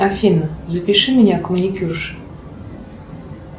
афина запиши меня к маникюрше